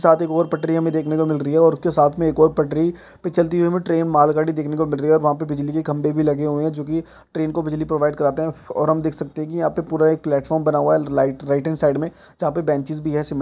साथ ही एक और पटरी हमें देखने को मिल रही है और उसके साथ में एक और पटरी पे चलती हुई ट्रेन मालगाड़ी देखने को मिल रही है और वहाँ पर बिजली के खंभे भी लगे हुए है जोकि ट्रेन को बिजली प्रोवाइड कराते है और हम देख सकते है कि यहाँ पे पूरा एक प्लेटफार्म बना हुआ है लाइट राइट एंड साइड में जहाँ पे बेंचेज भी है सीमेंट --